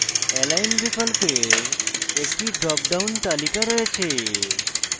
align বিকল্পের একটি drop down তালিকা রয়েছে